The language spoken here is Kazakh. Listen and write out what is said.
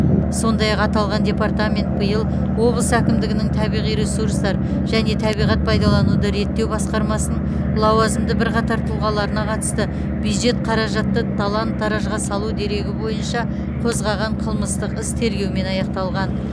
сондай ақ аталған департамент биыл облыс әкімдігінің табиғи ресурстар және табиғат пайдалануды реттеу басқармасының лауазымды бірқатар тұлғаларына қатысты бюджет қаражатты талан таражға салу дерегі бойынша қозғаған қылмыстық іс тергеумен аяқталған